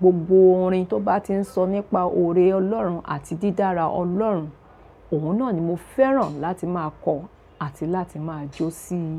gbogbo orin tó bá ti n sọ nípa oore ọlọ́run àti dídára ọlọ́run, ọ̀hun náà ni mo fẹ́ràn láti máa kọ àti láti máa jó síi.